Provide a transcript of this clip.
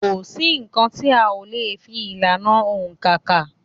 Kò sí nǹkan tí a lè fi ìlànà òǹkà kà.